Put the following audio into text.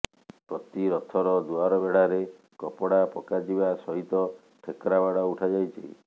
ପ୍ରତି ରଥର ଦୁଆରବେଢାରେ କପଡା ପକାଯିବା ସହିତ ଠେକରାବାଡ ଉଠାଯାଇଛି